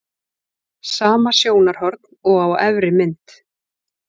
Sama sjónarhorn og á efri mynd.